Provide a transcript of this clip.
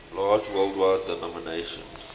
large worldwide denomination